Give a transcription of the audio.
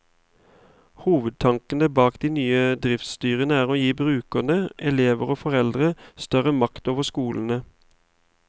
Hovedtanken bak de nye driftsstyrene er å gi brukerne, elever og foreldre, større makt over skolene.